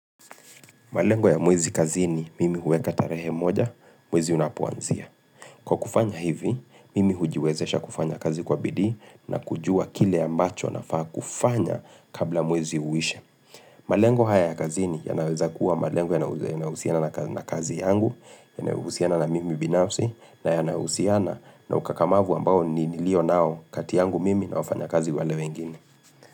Malengo ya mwezi kazini, mimi huweka tarehe moja mwezi unapouanzia. Kwa kufanya hivi, mimi hujiwezesha kufanya kazi kwa bidii na kujua kile ambacho nafaa kufanya kabla mwezi uwishe. Malengo haya ya kazini yanaweza kuwa malengo yanahusiana na kazi yangu, yanahusiana na mimi binafsi, na yanahusiana na ukakamavu ambao nilio nao kati yangu mimi na wafanyakazi wale wengine.